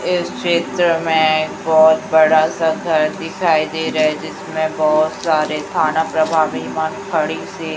इस चित्र में एक बहोत बड़ा सा घर दिखाई दे रहा है जिसमें बहोत सारे थाना प्रभावी खड़ी से--